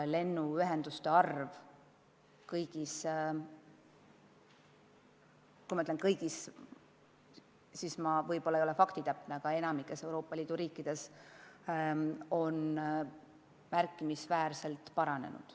Lennuühenduste arv kõigis – kui ma ütlen kõigis, siis ma võib-olla ei ole faktitäpne, aga enamikus – Euroopa Liidu riikides on märkimisväärselt kasvanud.